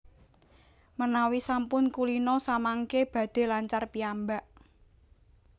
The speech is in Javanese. Menawi sampun kulina samangké badhé lancar piyambak